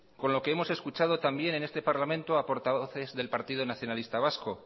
con lo que hemos escuchado también en este parlamento a portavoces del partido nacionalista vasco